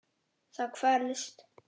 Það kvelst.